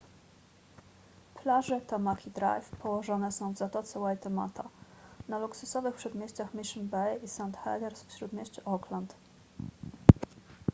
plaże tamaki drive położone są w zatoce waitemata na luksusowych przedmieściach mission bay i st heliers w śródmieściu auckland